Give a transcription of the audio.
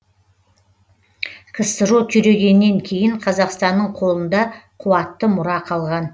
ксро күйрегеннен кейін қазақстанның қолында қуатты мұра қалған